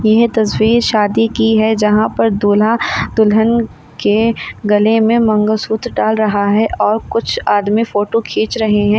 यह तस्वीर शादी की है जहां पर दूल्हा दुल्हन के गले में मंगलसूत्र डाल रहा है और कुछ आदमी फोटो खींच रहे हैं।